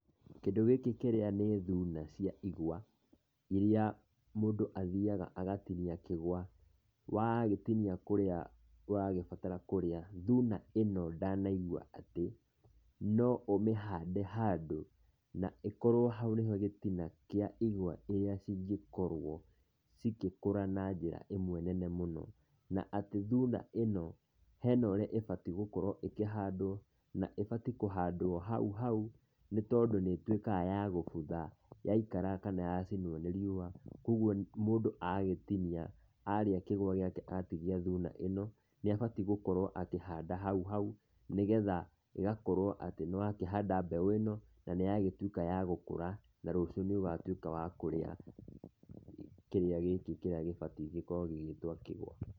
Kĩndũ gĩkĩ kĩrĩa nĩ thuna cia igwa, iria mũndũ athiaga agatinia kĩgũa, wagĩtinia kũrĩa ũrabatara kũrĩa, thuna ĩno ndanaigua atĩ, no ũmĩhande handũ, na ĩkorwo ohaũ nĩho gĩtina kĩa igwa iria cingĩkorwo cigĩkũra na njĩra ĩmwe nene mũno, na atĩ thuna ĩno hena ũrĩa yagĩrĩirwo gũkorwo ĩkĩhandwo, na ibatiĩ kũhandwo haũhaũ nĩ tondũ nĩ ĩtuĩkaga yagũbutha yaikara kana yacinwo nĩ riũa kana gũtinia thuna ĩno, nĩabatiĩ gũkorwo akĩhanda hauhau, nĩgetha agakorwo atĩ nĩ ahanda mbeũ ĩno na nĩ yatuĩka ya gũkũra, na rũcio nĩ watuĩka wakũrĩa kĩrĩa gĩkĩ kĩrĩa gĩbatiĩ gũkorwo gĩgĩtwo kĩgũa.